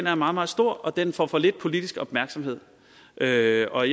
er meget meget stor og den får for lidt politisk opmærksomhed og jeg og